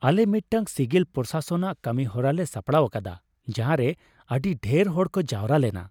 ᱟᱞᱮ ᱢᱤᱫᱴᱟᱝ ᱥᱤᱜᱤᱞ ᱯᱨᱚᱢᱚᱥᱚᱱᱟᱞ ᱠᱟᱹᱱᱤᱦᱚᱨᱟ ᱞᱮ ᱥᱟᱯᱲᱟᱣ ᱟᱠᱟᱫᱟ ᱡᱟᱦᱟᱸᱨᱮ ᱟᱹᱰᱤ ᱰᱷᱮᱨ ᱦᱚᱲ ᱠᱚ ᱡᱟᱣᱨᱟ ᱞᱮᱱᱟ ᱾